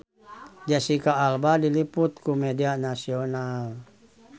Jesicca Alba diliput ku media nasional